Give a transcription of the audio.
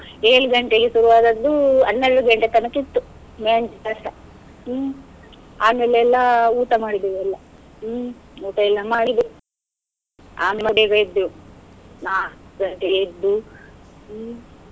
ಏಳ್ ಗಂಟೆಗೆ ಶುರುವಾದದ್ದು ಹನ್ನೆರಡು ಗಂಟೆ ತನಕ ಇತ್ತು मेहंदी ಶಾಸ್ತ್ರ, ಹ್ಮ್. ಆಮೇಲೆ ಎಲ್ಲ ಊಟ ಮಾಡಿದ್ದೇವು ಎಲ್ಲ, ಹ್ಮ್ ಊಟ ಎಲ್ಲ ಮಾಡಿದ್ದೆವು ಆಮೇಲೆ ಬೇಗ ಎದ್ದೆವು, ನಾಕ್ ಗಂಟೆಗೆ ಎದ್ದು ಹ್ಮ್.